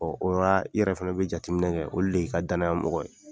o yɔrɔ la i yɛrɛ fana bɛ jateminɛ kɛ olu de y'i ka danayamɔgɔ ye.